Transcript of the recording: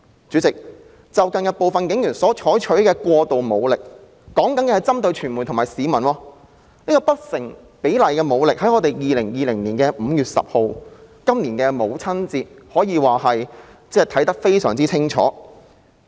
主席，近日部分警員採用過度武力，我說的是針對傳媒和市民的武力不成比例，從今年母親節所發生的事便可以看得非常清楚。